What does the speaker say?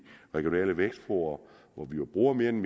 regionale vækstfora hvor vi jo bruger mere end